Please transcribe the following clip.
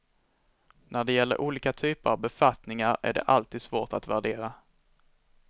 När det gäller olika typer av befattningar är det alltid svårt att värdera.